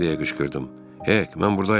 Ey, mən burdayam.